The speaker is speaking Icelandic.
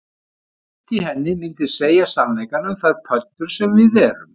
Sumt í henni myndi segja sannleikann um þær pöddur sem við erum